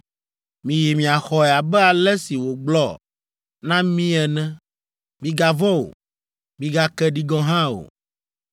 Miyi miaxɔe abe ale si wògblɔ na mí ene. Migavɔ̃ o. Migake ɖi gɔ̃ hã o.”